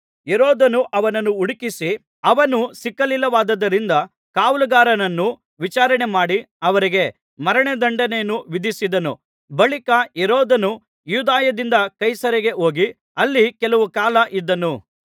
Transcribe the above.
ಹೆರೋದನು ಅವನನ್ನು ಹುಡುಕಿಸಿ ಅವನು ಸಿಕ್ಕಲಿಲ್ಲವಾದ್ದರಿಂದ ಕಾವಲುಗಾರರನ್ನು ವಿಚಾರಣೆಮಾಡಿ ಅವರಿಗೆ ಮರಣದಂಡನೆಯನ್ನು ವಿಧಿಸಿದನು ಬಳಿಕ ಹೆರೋದನು ಯೂದಾಯದಿಂದ ಕೈಸರೈಗೆ ಹೋಗಿ ಅಲ್ಲಿ ಕೆಲವು ಕಾಲ ಇದ್ದನು